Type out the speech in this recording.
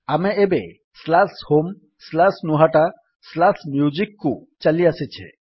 ଆମେ ଏବେ homegnuhataMusicକୁ ଚାଲିଆସିଛେ